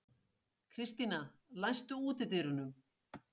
Kristíana, læstu útidyrunum.